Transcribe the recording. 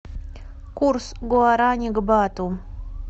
курс гуарани к бату